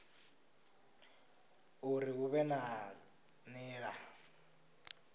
uri hu vhe na nila